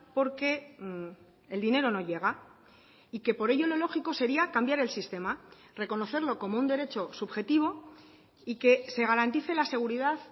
porque el dinero no llega y que por ello lo lógico sería cambiar el sistema reconocerlo como un derecho subjetivo y que se garantice la seguridad